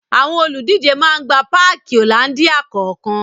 Àwọn olùdíje máa gba páàki Hollandia kọ̀ọ̀kan